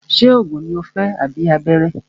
Ṣé oògùn ní o fẹ́ tàbí abẹ́rẹ́?